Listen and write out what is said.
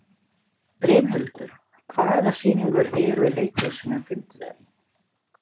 Brimhildur, hvaða sýningar eru í leikhúsinu á fimmtudaginn?